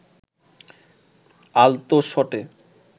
আলতো শটে